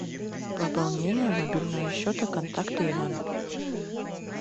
пополнение мобильного счета контакта иван